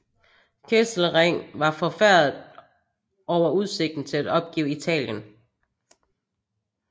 Kesselring var forfærdet over udsigten til at opgive Italien